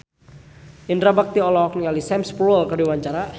Indra Bekti olohok ningali Sam Spruell keur diwawancara